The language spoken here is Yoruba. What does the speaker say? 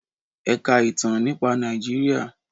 Ẹ ka ìtàn nípa Nàìjíríà!